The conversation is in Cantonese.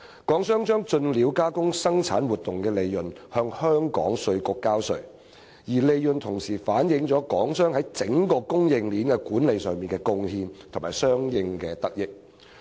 港商從"進料加工"生產活動賺到的利潤向香港稅務局交稅，該利潤反映港商在整個供應鏈管理上的貢獻和相應得益。